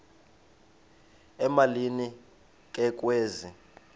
emalini ke kwezi